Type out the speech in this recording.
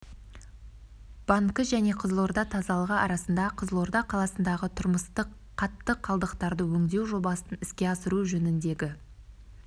банкі және қызылорда тазалығы арасында қызылорда қаласындағы тұрмыстық қатты қалдықтарды өңдеу жобасын іске асыру жөніндегі